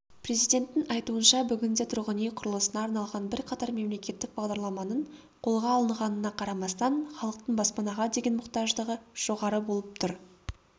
президенттің айтуынша бүгінде тұрғын-үй құрылысына арналған бірқатар мемлекеттік бағдарламаның қолға алынғанына қарамастан іалықтың баспанаға деген мұқтаждығы жоғары болып тұр